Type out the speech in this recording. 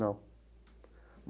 Não.